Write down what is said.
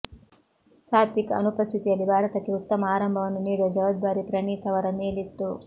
ಸಾತ್ವಿಕ್ ಅನುಪಸ್ಥಿತಿಯಲ್ಲಿ ಭಾರತಕ್ಕೆ ಉತ್ತಮ ಆರಂಭವನ್ನು ನೀಡುವ ಜವಾಬ್ದಾರಿ ಪ್ರಣೀತ್ ಅವರ ಮೇಲಿತ್ತು